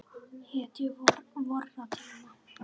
Hetju vorra tíma.